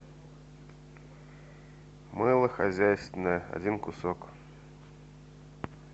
мыло хозяйственное один кусок